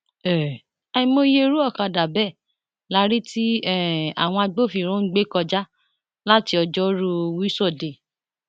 um àìmọye irú ọkadà bẹẹ la rí tí um àwọn agbófinró ń gbé kọjá láti ọjọrùú wíṣọdẹẹ